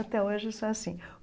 Até hoje sou assim.